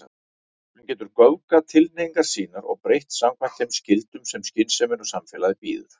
Hann getur göfgað tilhneigingar sínar og breytt samkvæmt þeim skyldum sem skynsemin og samfélagið býður.